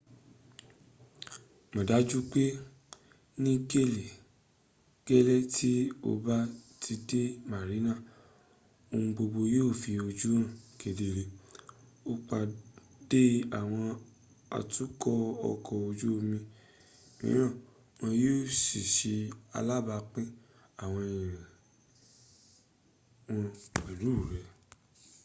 mo daju pe ni gele ti o ba ti de marinas ohun gbogbo yio fi oju han kedere o pade awon atuko oko oju omi miran won yio si se alabapin awon iriri won pelu re